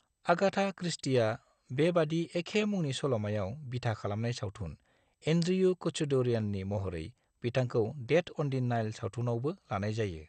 Agatha क्रिस्टीआ बेबादि एखे मुंनि सल'मायाव बिथा खालामनाय सावथुन एन्ड्रियु कच्छदौरियाननि महरै बिथांखौ डेथ अन दि नाइल सावथुनावबो लानाय जायो।